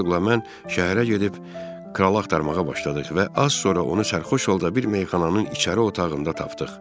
Hersoqla mən şəhərə gedib kralı axtarmağa başladıq və az sonra onu sərxoş halda bir meyxananın içəri otağında tapdıq.